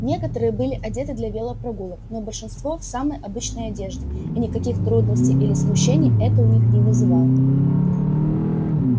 некоторые были одеты для велопрогулок но большинство в самой обычной одежде и никаких трудностей или смущений это у них не вызывало